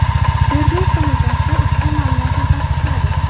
Tergov qo‘mitasi ushbu ma’lumotni tasdiqladi.